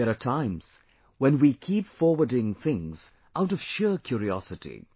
There are times when we keep forwarding things out of sheer curiosity